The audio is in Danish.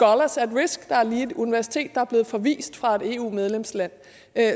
der er lige et universitet der er blevet forvist fra et eu medlemsland